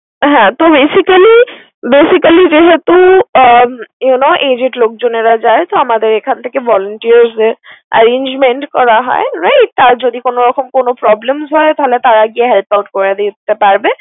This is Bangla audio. হ্যাঁ তো basically basically যেহেতু উম you know aged লোকজনেরা যায়, তো আমাদের এখান থেকে volunteers দেয়। আর arrangement করা হয় right । তার যদি কোন রকম কোন problems হয় তাহলে তারা গিয়ে help out করে দিতে পারবে।